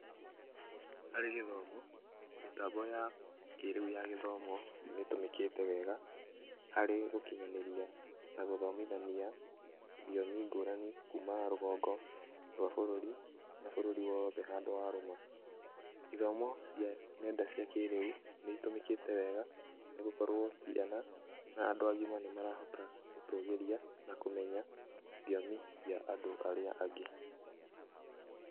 Harĩ gĩthomo, mĩtambo ya kĩĩrĩu ya gĩthomo nĩtũmĩkĩte wega harĩ gũkinyanĩria na gũthomithania thiomi ngũrani kuma rũgongo rwa bũrũri na bũrũri wothe handũ wa rũma. ithomo cia nenda cia kĩĩrĩu nĩ itũmĩkĩte wega nĩ gũkorwo ciana na andũ agima nĩmarahota gũtũgĩria na kũmenya thiomi cia arĩa angĩ.